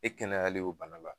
E kɛnɛyalen o bana la